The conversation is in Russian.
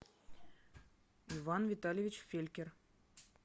иван витальевич фелькер